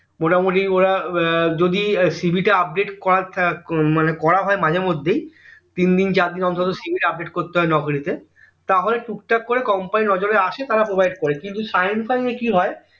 মোটা মোটি ওরা আহ যদি CV টা update করা হয় মাঝে মধ্যেই তিনদিন চারদিন অন্তর অন্তর CV টা update করতে হয় নকরি তে তাহলে টুক টাক করে company এর নজরে আসে তারা provide করে কিন্তু shine fine এ কি হয়